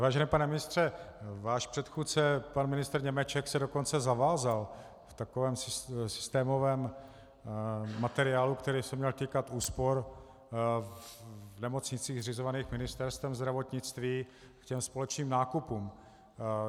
Vážený pane ministře, váš předchůdce pan ministr Němeček se dokonce zavázal v takovém systémovém materiálu, který se měl týkat úspor v nemocnicích zřizovaných Ministerstvem zdravotnictví, k těm společným nákupům.